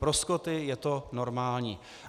Pro Skoty je to normální.